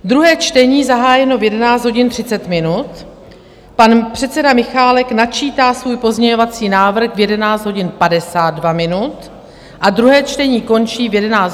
Druhé čtení zahájeno v 11 hodin 30 minut, pan předseda Michálek načítá svůj pozměňovací návrh v 11 hodin 52 minut a druhé čtení končí v 11 hodin 55 minut.